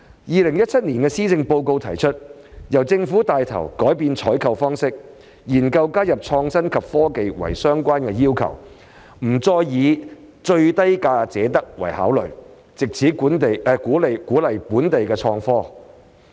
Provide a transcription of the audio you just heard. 2017年的施政報告提出："由政府帶頭改變採購方法，研究加入創新及科技為相關要求，不單以價低者得為考慮，藉此鼓勵本地科技創新。